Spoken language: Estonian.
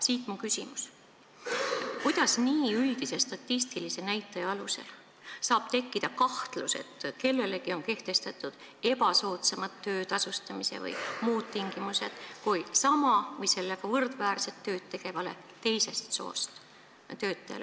Siit minu küsimus: kuidas nii üldise statistilise näitaja alusel saab tekkida kahtlus, et kellelegi on kehtestatud ebasoodsamad töötasustamise või muud tingimused kui sama või võrdväärset tööd tegevale teisest soost töötajale?